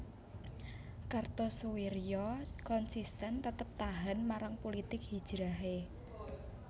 Kartosoewirjo konsisten tetep tahan marang pulitik hijrahe